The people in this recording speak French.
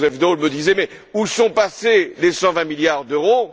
Joseph Daul me disait Mais où sont passés les 120 milliards d'euros?